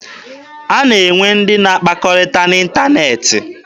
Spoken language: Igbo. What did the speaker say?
A na-enwe ndị na akpakọrịta n'ịntaneetị.